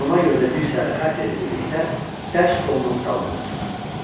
Buna görə də bir səhər Katya ilə birlikdə dərs stolunun dalında oturdum.